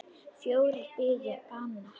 Fjórir biðu bana.